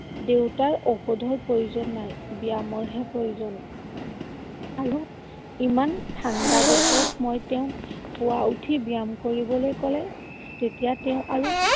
দেউতাৰ ঔষধৰ প্ৰয়োজন নাই, ব্যায়ামৰহে প্ৰয়োজন। আৰু ইমান ঠাণ্ডা বতৰত মই তেওঁক পুৱা উঠি ব্যায়াম কৰিবলৈ কলে তেতিয়া তেওঁ আৰু